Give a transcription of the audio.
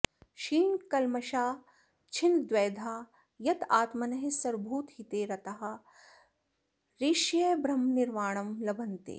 क्षीणकल्मषाः छिन्नद्वैधाः यतात्मानः सर्वभूतहिते रताः ऋषयः ब्रह्मनिर्वाणं लभन्ते